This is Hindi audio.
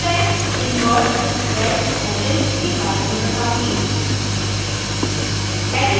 अब मैं invert wedge hashes invert wedge hashes के बारे में बताउंगी